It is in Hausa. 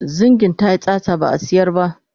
zingin tayi tsatsa ba'a sayar ba